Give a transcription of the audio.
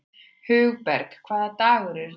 Hugberg, hvaða dagur er í dag?